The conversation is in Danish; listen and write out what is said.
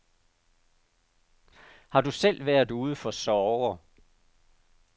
Har du selv været ude for sorger?